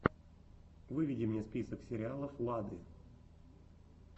выведи мне список сериалов лады